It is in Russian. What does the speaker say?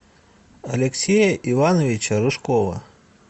алексея ивановича рыжкова